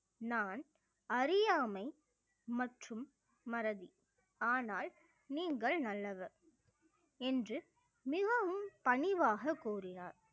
நான் அறியாமை மற்றும் மறதி ஆனால் நீங்கள் நல்லவர் என்று மிகவும் பணிவாக கூறினார்